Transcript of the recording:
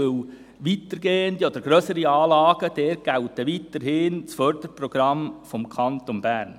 Denn bei weitergehenden oder grösseren Anlagen gilt weiterhin das Förderprogramm des Kantons Bern.